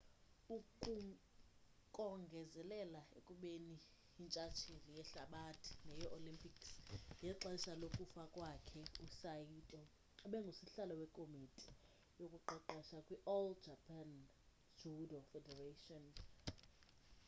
ukongezelela ekubeni yintshtsheli yehlabathi neyee-olympics ngexesha lokufa kwakhe usaito ebengusihlalo wekomiti yokuqeqesha kwi-all japan judo federation